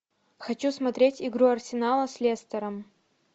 хочу смотреть игру арсенала с лестером